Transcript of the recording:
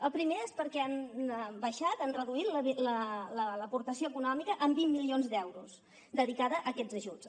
el primer és perquè han abaixat han reduït l’aportació econòmica en vint milions d’euros dedicada a aquests ajuts